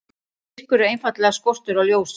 Myrkur er einfaldlega skortur á ljósi.